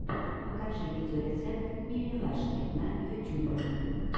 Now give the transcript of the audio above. покажи видеорецепт мимилашки на ютюбе